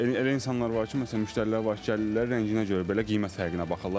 Elə insanlar var ki, məsələn, müştərilər var ki, gəlirlər rənginə görə belə qiymət fərqinə baxırlar.